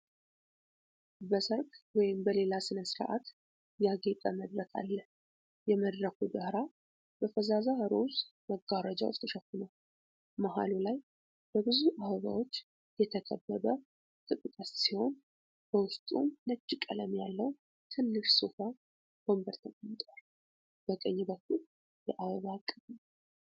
በሠርግ ወይም በሌላ ሥነ ሥርዓት ያጌጠ መድረክ አለ። የመድረኩ ዳራ በፈዛዛ ሮዝ መጋረጃዎች ተሸፍኗል። መሃሉ ላይ በብዙ አበባዎች የተከበበ ክብ ቅስት ሲሆን፣ በውስጡም ነጭ ቀለም ያለው ትንሽ ሶፋ ወንበር ተቀምጧል። በቀኝ በኩል የአበባ እቅፍ አለ።